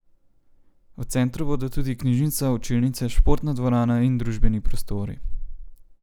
V centru bodo tudi knjižnica, učilnice, športna dvorana in družabni prostori.